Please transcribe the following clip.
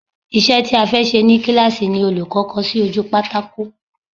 Isẹ́ ti a fẹ́ ṣe ni kíláàsì ni olùkọ́ kọ sí ojú pátákò